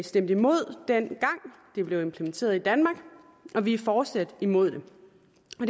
stemte imod dengang det blev implementeret i danmark og vi er fortsat imod det det